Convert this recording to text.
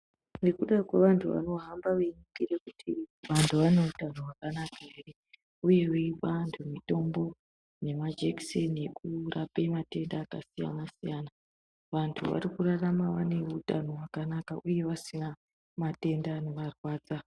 Nekuda kwe vantu vano hamba vei bhiira vantu vane utano hwaka naka ere uye veioa vantu mitombo ne majekiseni ekurape matenda hwaka siyana siyana vantu vari kurarama vane utano hwakanaka uye vasina matenda ne marwadza.